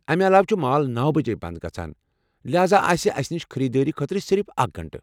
امہ علاوٕ چھِ مال نوَ بجے بند گژھان لہذا آسہِ اسہِ نِش خریدٲری خٲطرٕ صرف اکھ گٲنٛٹہٕ